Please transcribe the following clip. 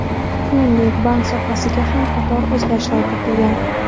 Shuningdek, bank sohasida ham qator o‘zgarishlar rejalashtirilgan.